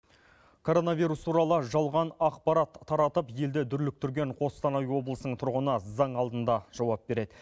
коронавирус туралы жалған ақпарат таратып елді дүрліктірген қостанай облысының тұрғыны заң алдында жауап береді